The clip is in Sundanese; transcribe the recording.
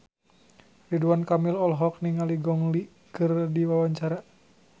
Ridwan Kamil olohok ningali Gong Li keur diwawancara